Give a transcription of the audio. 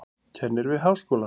Kennir við háskólann.